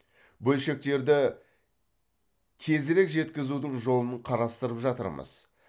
бөлшектерді тезірек жеткізудің жолын қарастырып жатырмыз